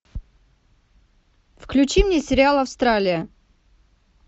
включи мне сериал австралия